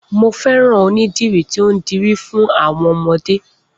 Mo fẹ́ràn onídìrí tí ó ń dirí fún àwọn ọmọdé.